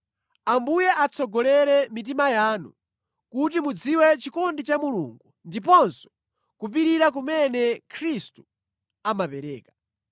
Ambuye atsogolere mitima yanu kuti mudziwe chikondi cha Mulungu ndiponso kupirira kumene Khristu amapereka.